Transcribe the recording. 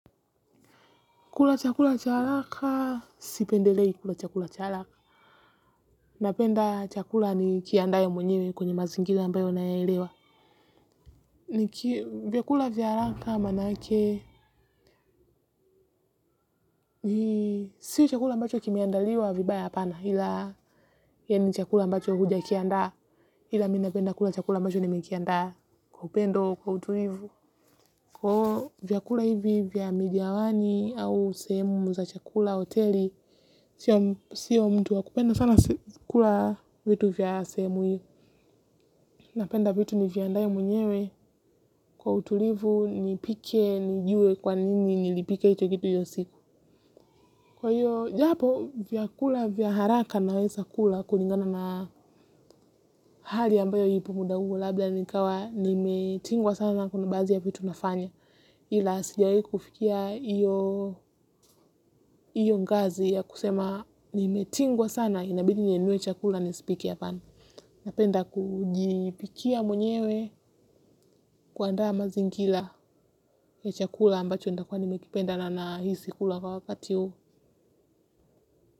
Kula chakula cha haraka, sipendelei kula chakula cha araka. Napenda chakula nikiandae wenyewe kwenye mazingira ambayo nayaelewa. Ni kia vyakula vya haraka manake. Si chakula ambacho kimeandaliwa vibaya apana ila yani chakula ambacho huja ikiandaa ila mi napenda kula chakula ambacho nimekiandaa kwa upendo kwa utulivu. Kwa iyo vyakula hivi vya midiawani au sehemu za chakula, hoteli, sio mtu wa kupenda sana kula vitu vya sehemu hivyo. Napenda vitu niviandae mwenyewe kwa utulivu, nipike, nijue kwa nini nilipike hicho kitu iyo siku. Kwa hiyo, japo vyakula vya haraka naweza kula kulingana na hali ambayo ipo muda huo. Labda nikawa nimetingwa sana na kuna baadhi ya vitu nafanya. Ila sijawai kufikia iyo ngazi ya kusema nimetingwa sana, inabildi ninunue chakula nisipike hapana. Napenda kujipikia mwenyewe, kuandaa mazingila ya chakula ambacho ntakua nimekipenda na nahisi kula kwa wakati huu.